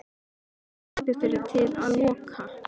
Menn hlupu fyrir til að loka.